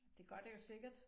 Det gør det jo sikkert